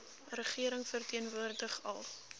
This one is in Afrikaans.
regering verteenwoordig al